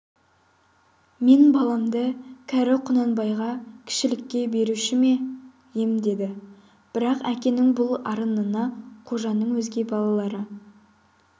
мен баламды кәрі құнанбайға кішілікке беруші ме ем деді бірақ әкенің бұл арынына қожаның өзге балалары